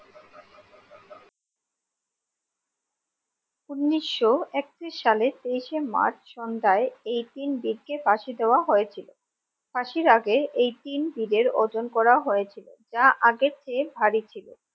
ঊনিশশো একত্রিশ সালে তেইশে মার্চ সন্ধ্যায় এই তিন বীর কে ফাঁসি দেওয়া হয়েছিল ফাঁসির আগে এই তিন বীর এর ওজন করা হয়েছিল যা আগের চেয়ে ভারী ছিল